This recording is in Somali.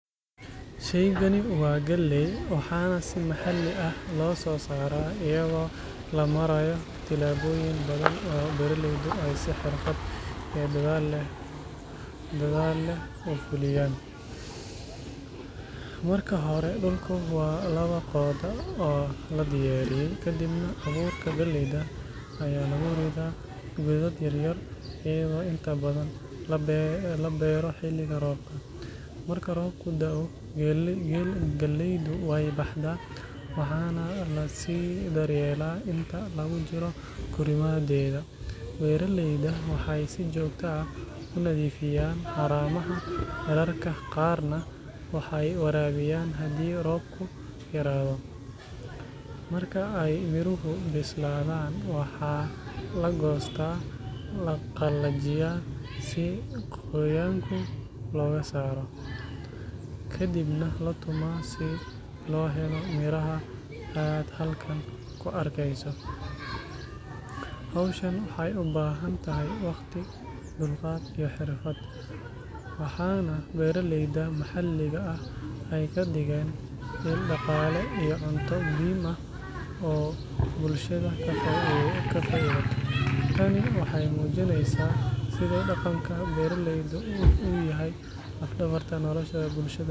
Shaygan waa galley, waxaana si maxalli ah loo soo saaraa iyadoo la marayo tillaabooyin badan oo beeraleydu ay si xirfad iyo dadaal leh u fuliyaan. Marka hore, dhulku waa la qodaa oo la diyaariyaa, kadibna abuurka galleyda ayaa lagu ridaa godad yar yar, iyadoo inta badan la beero xilliga roobka. Marka roobku da’o, galleydu way baxdaa, waxaana la sii daryeelaa inta lagu jiro korriimadeeda. Beeraleyda waxay si joogto ah u nadiifiyaan haramaha, mararka qaarna way waraabiyaan haddii roobku yaraado. Marka ay miruhu bislaadaan, waxaa la goostaa, la qalajiyaa si qoyaanka looga saaro, kadibna la tumaa si loo helo miraha aad halkan ku arkayso. Hawshan waxay u baahan tahay waqti, dulqaad, iyo xirfad, waxaana beeraleyda maxalliga ah ay ka dhigeen il dhaqaale iyo cunto muhiim ah oo bulshada ka faa’iidato. Tani waxay muujinaysaa sida dhaqanka beeralayda u yahay laf-dhabarta nolosha bulshada deegaanka.